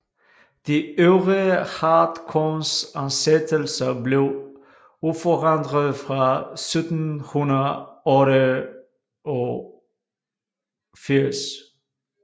De øvrige hartkornsansættelser blev uforandrede fra 1688